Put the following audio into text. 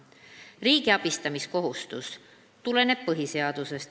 Riigi abistamiskohustus tuleneb põhiseadusest.